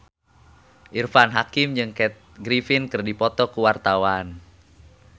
Irfan Hakim jeung Kathy Griffin keur dipoto ku wartawan